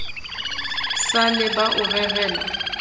sa le ba o rerela